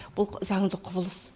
бұл заңды құбылыс